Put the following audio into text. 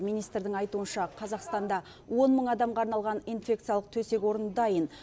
министрдің айтуынша қазақстанда он мың адамға арналған инфекциялық төсек орын дайын